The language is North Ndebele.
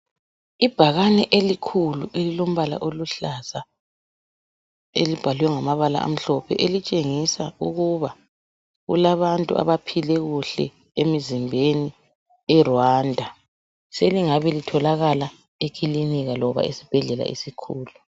Ibhakane elikhulu elilombala oluhlaza elibhalwe ngamabala amhlophe elitshengisa ukuba kulabantu abaphile kuhle emizimbeni eRwanda selingabe litholakala ekilinika loba esibhedlela esikhulu.